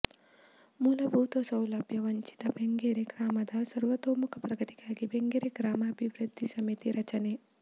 ಮೂಲಭೂತ ಸೌಲಭ್ಯ ವಂಚಿತ ಬೆಂಗರೆ ಗ್ರಾಮದ ಸರ್ವತೋಮುಖ ಪ್ರಗತಿಗಾಗಿ ಬೆಂಗರೆ ಗ್ರಾಮಾಭಿವೃದ್ಧಿ ಸಮಿತಿ ರಚನೆ